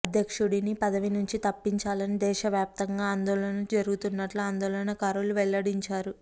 అధ్యక్షుడిని పదవినుంచి తప్పించాలని దేశవ్యాప్తంగా ఆందోళనలు జరుగుతున్నట్లు ఆందోళన కారులు వెల్లడించారు